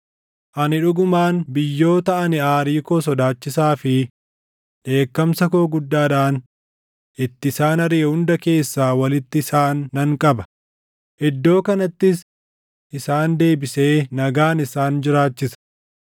Ani dhugumaan biyyoota ani aarii koo sodaachisaa fi dheekkamsa koo guddaadhaan itti isaan ariʼe hunda keessaa walitti isaan nan qaba; iddoo kanattis isaan deebisee nagaan isaan jiraachisa.